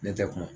Ne tɛ kuma